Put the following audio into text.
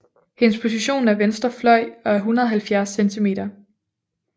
Hendes position er venstre fløj og er 170 cm